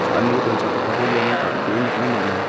cha·aniko donchakgipako iano dal·bee nikna man·a.